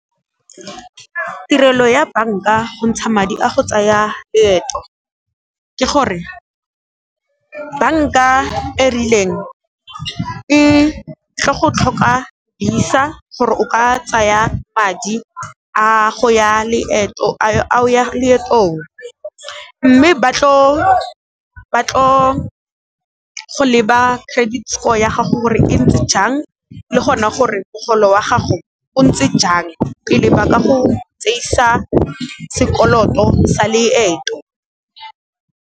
Tirelo ya banka go ntsha madi a go tsaya loeto ke gore, banka e rileng e tlo go tlhoka visa gore o ka tsaya madi a o ya leetong, mme ba tlo go leba credit score ya gago gore e ntse jang le gona gore mogolo wa gago o ntse jang pele ba ka go tseisa sekoloto sa leeto.